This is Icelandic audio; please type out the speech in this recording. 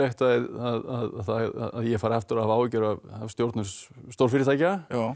að ég fari aftur að hafa áhyggjur af stjórnun stórfyrirtækja